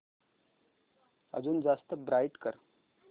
अजून जास्त ब्राईट कर